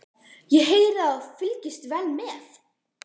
Ég heyri að þú hefur fylgst vel með.